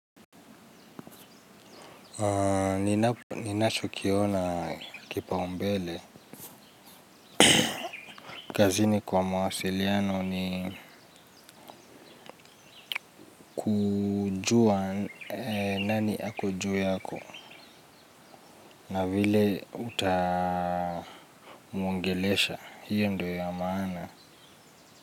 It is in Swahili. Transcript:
Ninacho kiona kipa umbele. Kazini kwa mawasiliano ni jua nani ako juu yako. Na vile utamuongelesha, hiyo ndio ya maana.